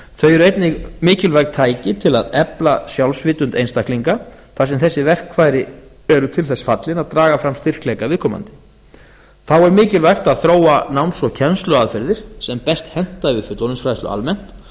þau eru einnig mikilvæg tæki til að efla sjálfsvitund einstaklinga þar sem þessi verkfæri eru til þess fallin að draga fram styrkleika viðkomandi þá er mikilvægt að þróa náms og kennsluaðferðir sem best henta við fullorðinsfræðslu almennt